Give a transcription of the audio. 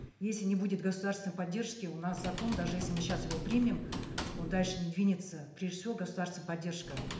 если не будет государственной поддержки у нас закон даже если мы сейчас его примем он дальше не двинется прежде всего государственная поддержка